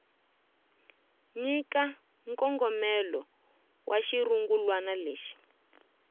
nyika nkongomelo wa xirungulwana lexi